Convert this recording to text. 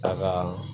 A kaa